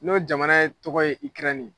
N'o jamana ye tɔgɔ ye IKƐRƐNI ye.